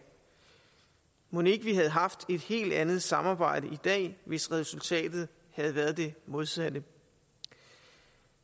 mon ikke vi havde haft et helt andet samarbejde i dag hvis resultatet havde været det modsatte